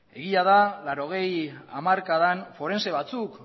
egia da mila bederatziehun eta laurogei hamarkadan forentse batzuk